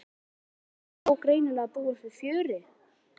Heimir Már: Það má greinilega búast við fjöri?